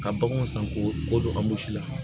Ka baganw san k'o bɔ ka bosi la